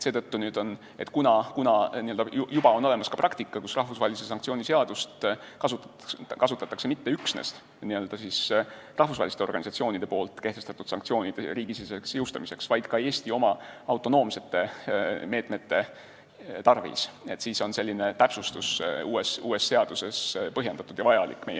Seetõttu, kuna juba on olemas ka praktika, kus rahvusvahelise sanktsiooni seadust kasutatakse mitte üksnes rahvusvaheliste organisatsioonide kehtestatud sanktsioonide riigisiseseks jõustamiseks, vaid ka Eesti oma, autonoomsete meetmete tarvis, siis on meie arvates selline täpsustus uues seaduses põhjendatud ja vajalik.